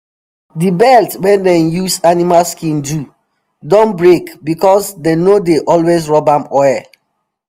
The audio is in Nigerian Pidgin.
the belt wey dem use animal skin do don break because dem no dey always rub am oil